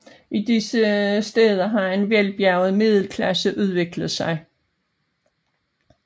I disse stæder har en velbjerget middelklasse udviklet sig